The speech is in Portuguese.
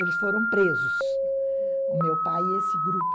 Eles foram presos, o meu pai e esse grupo.